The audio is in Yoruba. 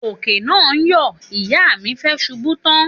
Òkè náà ń yọ̀ ìyá mi fẹẹ ṣubú tán